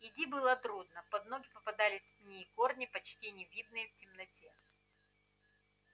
идти было трудно под ноги попадались пни и корни почти не видные в темноте